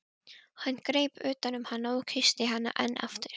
Hann greip utan um hana og kyssti hana enn aftur.